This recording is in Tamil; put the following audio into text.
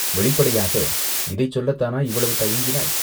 வெளிப்படையாக, "இதைச் சொல்லத்தானா, இவ்வளவு தயங்கினாய்?